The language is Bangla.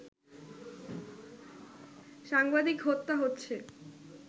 সাংবাদিক হত্যা হচ্ছে